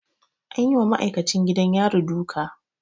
An yi wa ma'aikacin gidan yari duka.